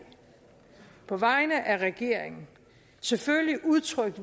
på vegne af regeringen selvfølgelig udtrykt